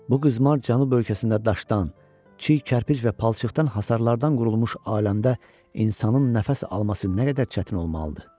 Bu qızmar cənub ölkəsində daşdan, çiy kərpic və palçıqdan hasarlardan qurulmuş aləmdə insanın nəfəs alması nə qədər çətin olmalıdır.